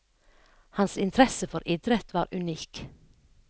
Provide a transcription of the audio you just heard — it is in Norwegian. Hans interesse for idrett var unik.